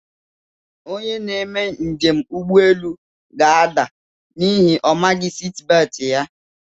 Onye na-eme njem na ụgbọelu ga-ada n'ihi na omaghi siti beeti ya.